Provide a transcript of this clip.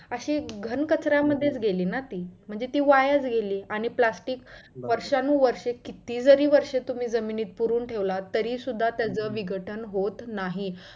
अशी घाण काचऱ्या मध्ये च गेली ना ती म्हणजे ती वायाच गेली आणि plastic वर्षानु वर्षे किती जरी वर्षे तुम्ही जमिनीत पुरून ठेवलात तरी सुद्धा त्याच विघटन होत नाही.